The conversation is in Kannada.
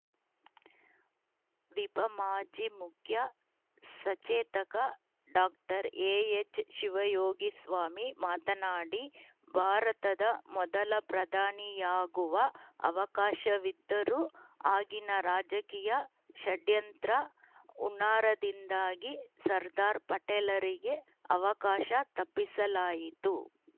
ವಿಪ ಮಾಜಿ ಮುಖ್ಯ ಸಚೇತಕ ಡಾಕ್ಟರ್ ಎಎಚ್‌ಶಿವಯೋಗಿಸ್ವಾಮಿ ಮಾತನಾಡಿ ಭಾರತದ ಮೊದಲ ಪ್ರಧಾನಿಯಾಗುವ ಅವಕಾಶವಿದ್ದರೂ ಆಗಿನ ರಾಜಕೀಯ ಷಡ್ಯಂತ್ರ ಹುನ್ನಾರದಿಂದಾಗಿ ಸರ್ದಾರ್‌ ಪಟೇಲರಿಗೆ ಅವಕಾಶ ತಪ್ಪಿಸಲಾಯಿತು